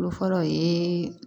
Fɔlɔ ye